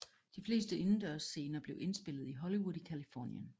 De fleste indendørsscener blev indspillet i Hollywood i Californien